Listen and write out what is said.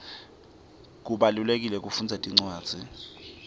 kubalulekile kufundza tincwadzi